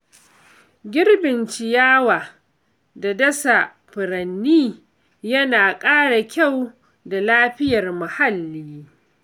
Girbin ciyawa da dasa furanni yana ƙara kyau da lafiyar muhalli.